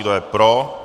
Kdo je pro?